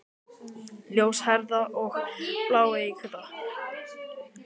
Ljóshærða og bláeygða.